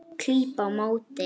Klíp á móti.